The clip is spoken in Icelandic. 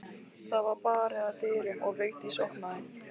Það var barið að dyrum og Vigdís opnaði.